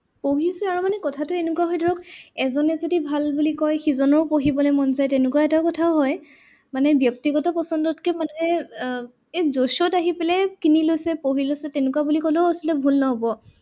পঢ়িছে আৰু মানে কথাটো এনেকুৱা হৈছে ধৰক, এজনে যদি ভাল বুলি কয় সিজনৰো পঢ়িবলৈ মন যায় তেনেকুৱা এটা কথাও হয়। মানে ব্যক্তিগত পছন্দত কৈ মানুহে এই আহি পেলাই কিনি লৈছে, পঢ়ি লৈছে, তেনেকুৱা বুলি ক'লেও আচলতে ভুল নহ'ব।